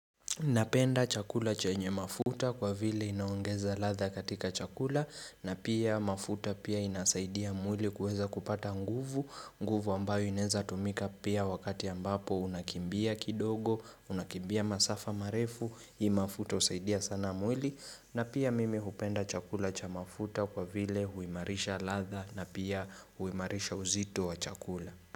Napenda chakula chenye mafuta kwa vile inaongeza ladha katika chakula na pia mafuta pia inasaidia mwili kuweza kupata nguvu, nguvu ambayo inaeza tumika pia wakati ambapo unakimbia kidogo, unakimbia masafa marefu, hii mafuta husaidia sana mwili na pia mimi hupenda chakula cha mafuta kwa vile huimarisha ladha na pia huimarisha uzito wa chakula.